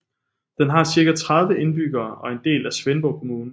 Den har cirka 30 indbyggere og er en del af Svendborg Kommune